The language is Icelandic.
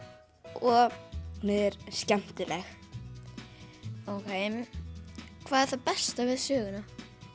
og hún er skemmtileg okei hvað er það besta við söguna